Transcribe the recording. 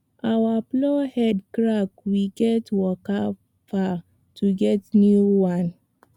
our plow head crack we gats waka far to get new one